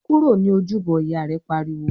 "Kúrò ní Ojúbọ!", Ìyá rẹ̀ pariwo